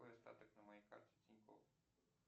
какой остаток на моей карте тинькофф